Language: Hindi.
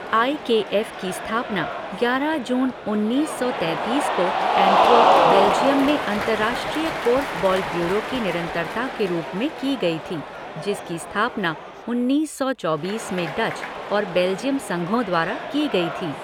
आई के एफ़ की स्थापना ग्यारह जून उन्नीस सौ तैंतीस को एंटवर्प, बेल्जियम में अंतर्राष्ट्रीय कोर्फ़बॉल ब्यूरो की निरंतरता के रूप में की गई थी, जिसकी स्थापना उन्नीस सौ चौबीस में डच और बेल्जियम संघों द्वारा की गई थी।